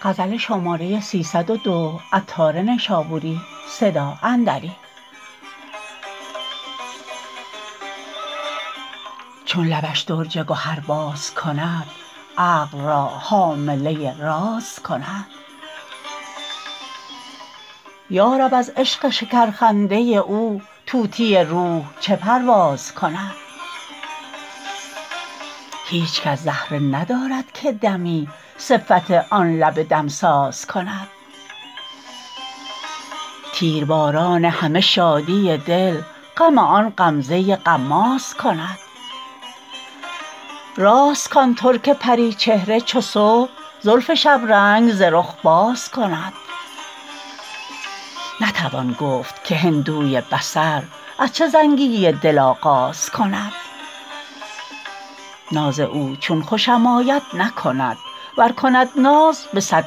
چون لبش درج گهر باز کند عقل را حامله راز کند یارب از عشق شکر خنده او طوطی روح چه پرواز کند هیچ کس زهره ندارد که دمی صفت آن لب دمساز کند تیرباران همه شادی دل غم آن غمزه غماز کند راست کان ترک پریچهره چو صبح زلف شبرنگ ز رخ باز کند نتوان گفت که هندوی بصر از چه زنگی دل آغاز کند ناز او چون خوشم آید نکند ور کند ناز به صد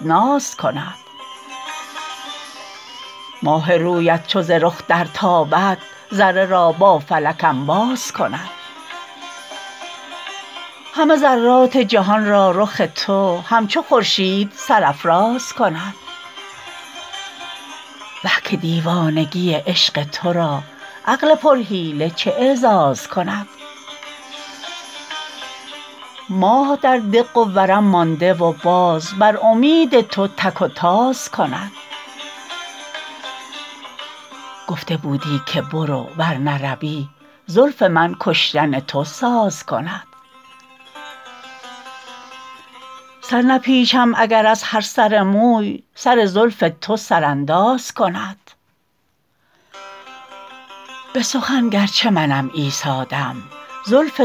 ناز کند ماه رویت چو ز رخ درتابد ذره را با فلک انباز کند همه ذرات جهان را رخ تو همچو خورشید سرافراز کند وه که دیوانگی عشق تو را عقل پر حیله چه اعزاز کند ماه در دق و ورم مانده و باز بر امید تو تک و تاز کند گفته بودی که برو ور نروی زلف من کشتن تو ساز کند سر نپیچم اگر از هر سر موی سر زلف تو سرانداز کند به سخن گرچه منم عیسی دم جزع تو دعوی ایجاز کند عنبر زلف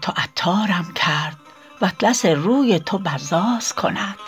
تو عطارم کرد واطلس روی تو بزاز کند